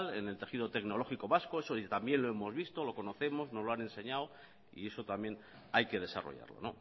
en el tejido tecnológico vasco eso también lo hemos visto lo conocemos nos lo han enseñado y eso también hay que desarrollarlo